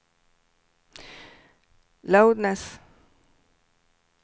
loudness